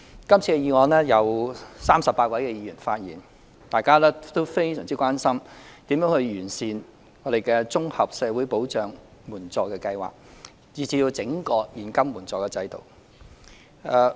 今次的議案共有38位議員發言，大家均非常關心如何完善綜合社會保障援助計劃，以至是整個現金援助制度。